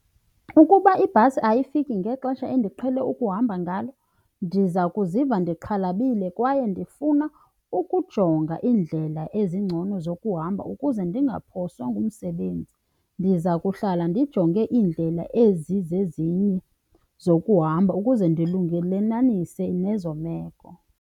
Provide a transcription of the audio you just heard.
Ukuba ibhasi ayifiki ngexesha endiqhele ukuhamba ngalo ndiza kuziva ndixhalabile kwaye ndifuna ukujonga iindlela ezingcono zokuhamba ukuze ndingaphoswa ngumsebenzi. Ndiza kuhlala ndijonge iindlela ezizezinye zokuhamba ukuze ndilungelelanise nezo meko.